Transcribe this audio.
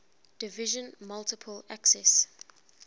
division multiple access